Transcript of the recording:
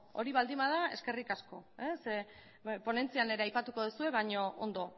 hori baldin bada eskerrik asko ponentzian ere aipatuko duzue baina ondo